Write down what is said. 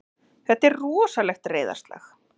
Þetta er rosalegt reiðarslag!